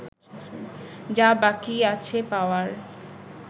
যা বাকি আছে পাওয়ার